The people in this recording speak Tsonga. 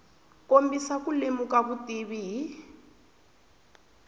kombisa ku lemuka vutivi hi